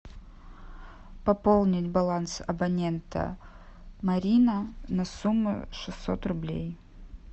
пополнить баланс абонента марина на сумму шестьсот рублей